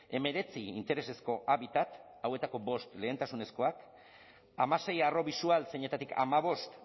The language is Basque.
hemeretzi interesezko habitat hauetako bost lehentasunezkoak hamasei arro bisual zeinetatik hamabost